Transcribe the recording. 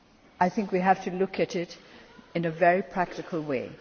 I think we have to look at this in a very practical way.